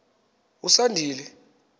usandile